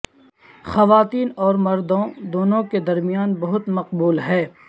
خواتین اور مردوں دونوں کے درمیان بہت مقبول ہے